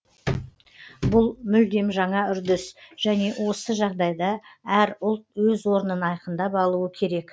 бұл мүлдем жаңа үрдіс және осы жағдайда әр ұлт өз орнын айқындап алуы керек